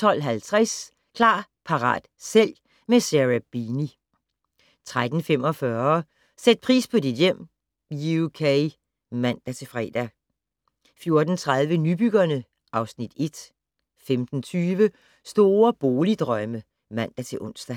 12:50: Klar, parat, sælg - med Sarah Beeny 13:45: Sæt pris på dit hjem (UK) (man-fre) 14:30: Nybyggerne (Afs. 1) 15:20: Store boligdrømme (man-ons)